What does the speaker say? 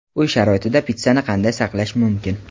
Uy sharoitida pitssani qanday saqlash mumkin?.